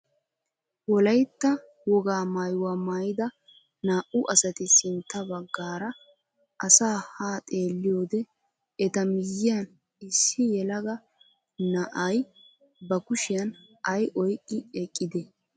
Wolaytta wogaa maayuwaa maayida naa"u asati sintta baggaara asaa haa xeelliyoode eta miyiyaan issi yelaga na'ay ba kushiyaan ay oyqqi eqqidee?